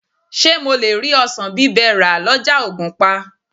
Ṣé mo lè rí ọsàn bí ẹ rà lọ́jà ògùnpa?